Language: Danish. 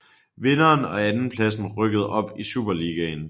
Vinderen og andenpladsen rykkede op i Superligaen